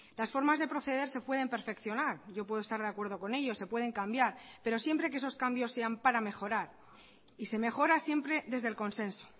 las formas de proceder se pueden perfeccionar yo puedo estar de acuerdo con ello se pueden cambiar pero siempre que esos cambios sean para mejorar y se mejora siempre desde el consenso